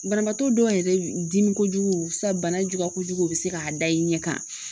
Banabaatɔ dɔw yɛrɛ dimi kojugu sa banajugu kojugu u bɛ se k'a da i ɲɛ kan